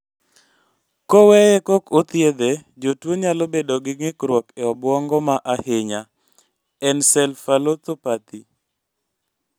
Koweye kok ethiedhe, jotuo nyalo bedo gi ng'ikruok e obuongo ma ahinya(encephalopathy)